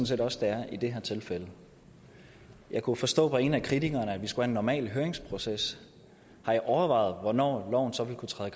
set også det er i det her tilfælde jeg kunne forstå på en af kritikerne at vi skulle en normal høringsproces har i overvejet hvornår loven så ville kunne træde